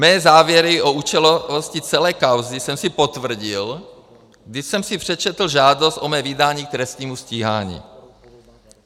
Mé závěry o účelovosti celé kauzy jsem si potvrdil, když jsem si přečetl žádost o mé vydání k trestnímu stíhání.